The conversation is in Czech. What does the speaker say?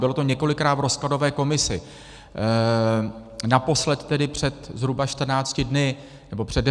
Bylo to několikrát v rozkladové komisi, naposled tedy před zhruba 14 dny, nebo před 10 dny.